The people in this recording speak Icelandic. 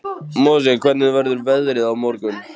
Mosi, hvernig verður veðrið á morgun?